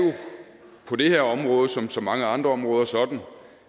som så mange andre områder sådan